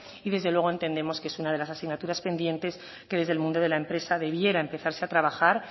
y desde luego entendemos que es una de las asignaturas pendientes que desde el mundo de la empresa debiera empezarse a trabajar